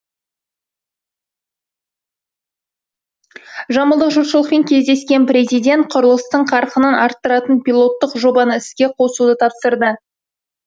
жамбылдық жұртшылықпен кездескен президент құрылыстың қарқынын арттыратын пилоттық жобаны іске қосуды тапсырды